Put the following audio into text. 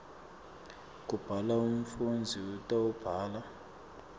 kubhala umfundzi utawubhala